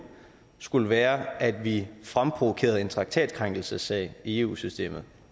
skulle være at vi fremprovokerede en traktatkrænkelsessag i eu systemet